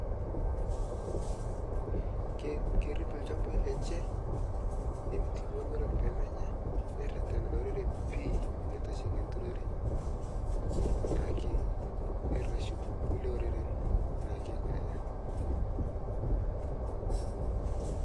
kerip ilchambai lenye nerishie ilowuorak pee menya nererena olorore pi aitasheki enturore, naake areshu kulie oreren ako neijia.